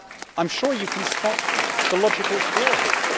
I am sure you can spot the logical flaw here.